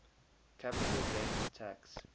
capital gains tax